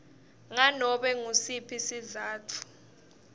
nganobe ngusiphi sizatfu